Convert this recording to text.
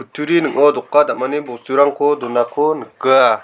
kutturi ning·o doka dam·ani bosturangko donako nika.